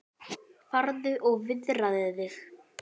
Farðu og viðraðu þig